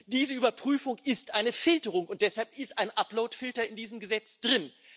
Diese Überprüfung ist eine Filterung, und deshalb ist ein Uploadfilter in diesem Gesetz drin.